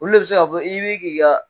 Olu de bi se k'a fɔ, i be k'i ka